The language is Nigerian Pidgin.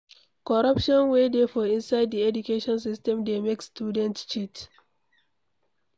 Coruption wey dey for inside di education system dey make student cheat